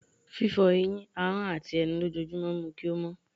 fífó eyín, ahón atí enú lòjojúmo mu kí o mó